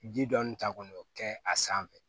Ji dɔɔni ta kɔni o kɛ a sanfɛ